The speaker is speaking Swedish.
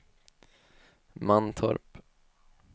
Mantorp